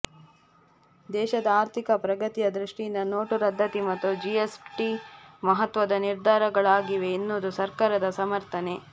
ದೇಶದ ಆರ್ಥಿಕ ಪ್ರಗತಿಯ ದೃಷ್ಟಿಯಿಂದ ನೋಟು ರದ್ದತಿ ಮತ್ತು ಜಿಎಸ್ಟಿ ಮಹತ್ವದ ನಿರ್ಧಾರಗಳಾಗಿವೆ ಎನ್ನುವುದು ಸರ್ಕಾರದ ಸಮರ್ಥನೆ